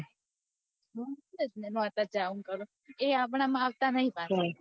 એ આપડા માં આવતા નહિ પાછા